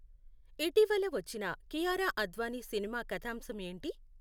ఇటీవల వచ్చిన కీయారా అద్వానీ సినిమా కథాంశం ఏంటి